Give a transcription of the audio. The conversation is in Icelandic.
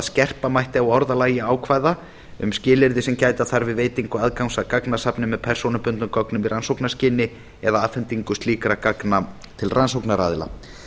skerpa mætti á orðalagi ákvæða um skilyrði sem gæta þarf við veitingu aðgangs að gagnasafni með persónubundnum gögnum í rannsóknarskyni eða afhendingu slíkra gagna til rannsóknaraðila